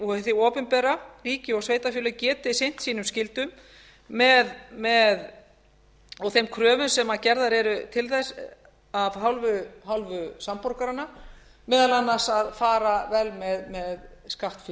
og hið opinbera ríki og sveitarfélög geti sinnt sínum skyldum og þeim kröfum sem gerðar eru til þess að af hálfu samborgaranna meðal annars að fara vel með skattfé almennings við